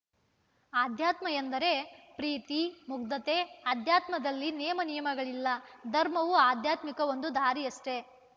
ಅಧ್ಯಾತ್ಮ ಎಂದರೆ ಪ್ರೀತಿ ಮುಗ್ಧತೆ ಅಧ್ಯಾತ್ಮದಲ್ಲಿ ನೇಮ ನಿಯಮಗಳಿಲ್ಲ ಧರ್ಮವು ಆಧ್ಯಾತ್ಮಿಕ ಒಂದು ದಾರಿಯಷ್ಟೇ